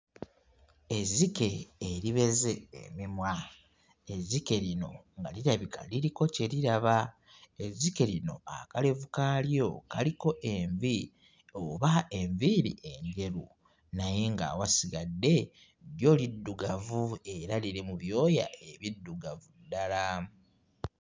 Ezzike eribeze emimwa, ezzike lino nga lirabika liriko kye liraba. Ezzike lino akalevu kaalyo kaliko envi oba enviiri enjeru naye ng'awasigadde lyo liddugavu era liri mu byoya ebiddugavu ddala.